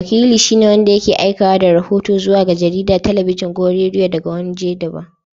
Wakili shi ne wanda yake aikewa da rahoto zuwa ga jarida, talabijin ko rediyo daga wani wajen daban.